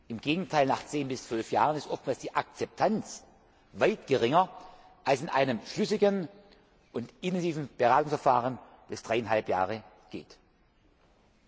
Im Gegenteil, nach zehn bis zwölf Jahren ist oftmals die Akzeptanz weit geringer als in einem schlüssigen und intensiven Beratungsverfahren, das dreieinhalb Jahre dauert.